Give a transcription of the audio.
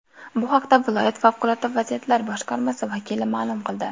Bu haqda viloyat Favqulodda vaziyatlar boshqarmasi vakili ma’lum qildi .